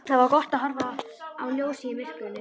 Það var gott að horfa á ljósið í myrkrinu.